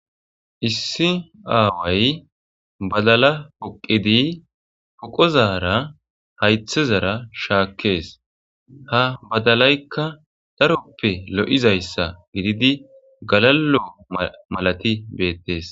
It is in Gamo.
Issi aaway baddala boqiddi poqqozarra hayiththezara harixes ha badalayikka daroppe lo'izayissa gididi galalo malathi bettes.